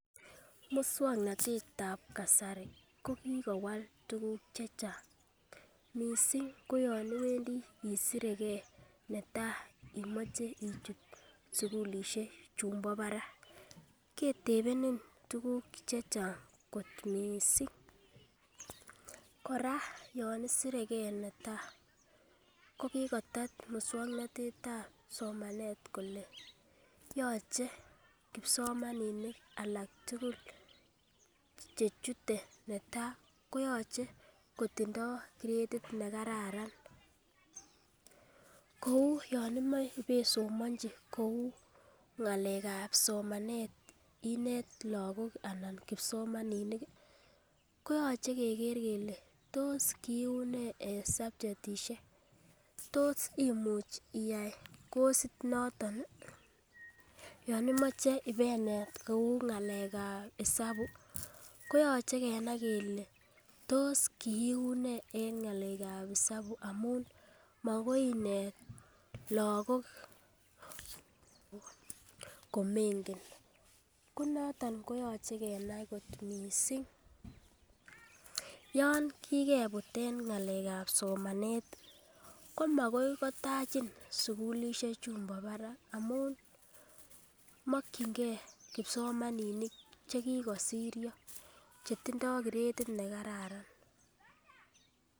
Muswoknotetab kasari ko kikowal tukuk chechang missing koyon Owendii isiregee netai imoche ichut sukulishek chumbo barak ketepenin tukuk chechang kot missing, koraa yon isiregee netai ko kikotet muswoknotetab somanet kole yoche kipsomaninik alak tukul chechotet netai koyoche kotindo kretit nekararan kou yon imoi ibesimonchi kou ngalekab somenet inet lokok anan kipsomaninik koyoche kegee kele tos kiunee en subjetishek tos imuch iyai kosit noton nii yon imoche inendet kou ngalekab isabu koyoche kenai kele tos kiunee en ngalekab isabu amun makoi inet lokok komengen ko noton koyoche kenai kot missing. Yon kikeput en ngalekab somanet komakoi kotachin sukulishek chumbo barak amun mokingee kipsomaninik chekikosieyo chetindo kireti nekararan.